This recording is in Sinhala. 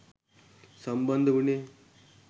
සම්බන්ධ උනේ